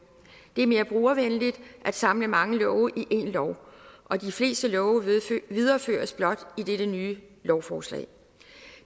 det er mere brugervenligt at samle mange love i én lov og de fleste love videreføres blot i dette nye lovforslag